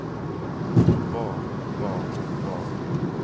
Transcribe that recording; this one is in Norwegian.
hva hva hva